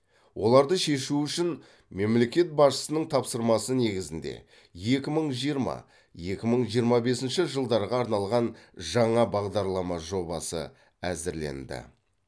оларды шешу үшін мемлекет басшысының тапсырмасы негізінде екі мың жиырма екі мың жиырма бесінші жылдарға арналған жаңа бағдарлама жобасы әзірленді